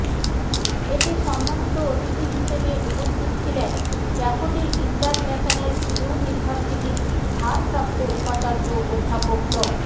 এতে সম্মানিত অতিথি হিসেবে উপস্থিত ছিলেন ড্যাফোডিল ইন্টারন্যাশনাল ইউনিভার্সিটির ভারপ্রাপ্ত উপাচার্য অধ্যাপক ড